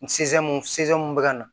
mun bɛ ka na